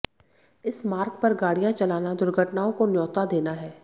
इस मार्ग पर गाडि़यां चलाना दुर्घटनाओं को न्योता देना है